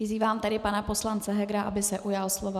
Vyzývám tedy pana poslance Hegera, aby se ujal slova.